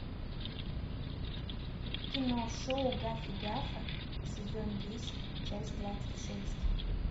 кино шоу гаффи гафа сезон десять часть двадцать шесть